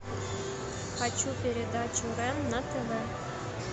хочу передачу рен на тв